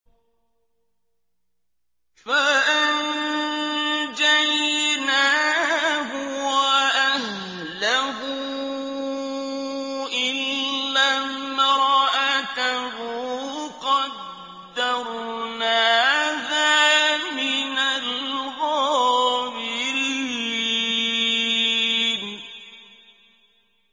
فَأَنجَيْنَاهُ وَأَهْلَهُ إِلَّا امْرَأَتَهُ قَدَّرْنَاهَا مِنَ الْغَابِرِينَ